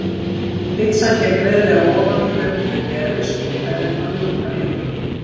Pitsan gekk greiðlega ofan í þau og Gerður skipaði þeim að ljúka við hana.